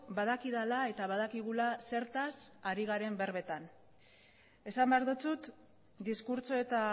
badakidala eta badakigula zertaz ari garen berbetan esan behar dizut diskurtso eta